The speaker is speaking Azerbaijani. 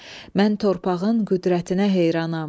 Mən torpağın qüdrətinə heyranam.